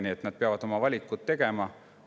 Nii et nad peavad oma valikud tegema.